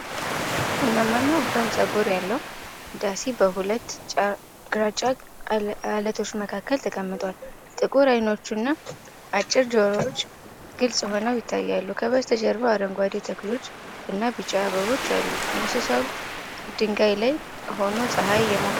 ቡናማና ወፍራም ፀጉር ያለው ዳሲ በሁለት ግራጫ ዓለቶች መካከል ተቀምጧል። ጥቁር ዓይኖቹና አጭር ጆሮዎቹ ግልጽ ሆነው ይታያሉ። ከበስተጀርባ አረንጓዴ ተክሎች እና ቢጫ አበቦች አሉ። እንስሳው ድንጋይ ላይ ሆኖ ፀሐይ እየሞቀ ነው።